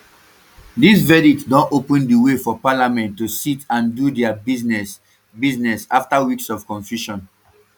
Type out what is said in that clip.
dis verdict don open di way for parliament to sit and do dia business business afta weeks of confusion